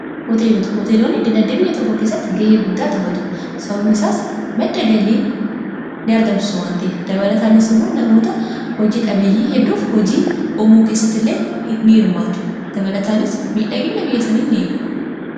Hoteelota, hooteelonni dinagdee biyya tokko keessatti ge'ee guddaa tuphatu sababa isaas madda galii ni argamsisu wantiif dabalataanis immoo namoota hojii dhabeeyyii hedduuf hojii uumuu keessatti illee ni hirmaatu dabalataanis miidhagina biyya isaanii ni eegu.